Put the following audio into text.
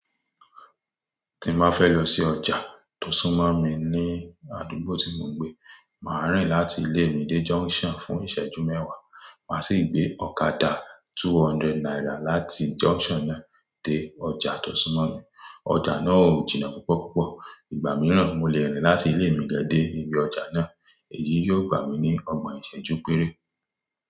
Tí má fẹ́ lọ sí ọjà tòsúnmọ̀ mi ní àdúgbò tí mo ń gbé, màá rìn láti ilé mi dé junction fún ìṣẹ́jú mẹ́wàá, màá sì gbé ọ̀kadà two hundred naira láti junction náà dé ọjà tòsúnmọ̀ yẹn. Ọjà náà ò jìnnà púpọ̀púpọ̀, ìgbà mìíràn mo lè rìn láti ilé mi gẹ́gẹ́ dé ibi ọjà náà, èyí yóò gbà mí ní ọgbọ̀n ìṣẹ́jú péré.